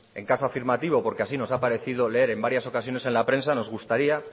en caso afirmativo porque así nos ha parecido leer en varios ocasiones en la prensa nos gustaría